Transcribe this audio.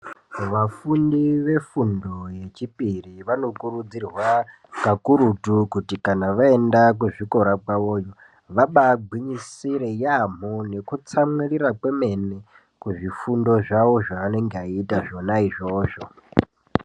Vafundi vefundo yechipiri vanokurudzirwa kakurutu kuti kana vaenda kuchikora kwavoyo vabagwinyisire yambo nekutsamwirira kwemene kuzvifundo zvawo zvaanenge eiita zvona izvozvo.